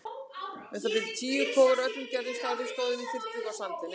Um það bil tíu kofar af öllum gerðum og stærðum stóðu í þyrpingu á sandinum.